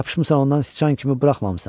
Yapışmısan ondan sıçan kimi buraxmamısan.